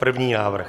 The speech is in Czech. První návrh.